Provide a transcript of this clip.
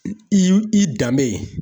I y'u i danbe